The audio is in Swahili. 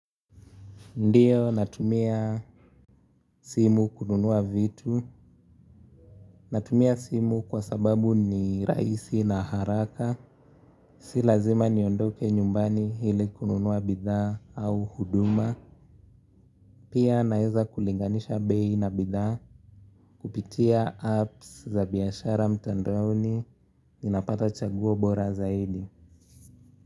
Ndiyo natumia simu kununua vitu. Natumia simu kwa sababu ni raisi na haraka. Si lazima niondoke nyumbani hili kununua bidhaa au huduma. Pia naeza kulinganisha bei na bidhaa kupitia apps za biashara mtandaoni ninapata chaguo bora zaidi.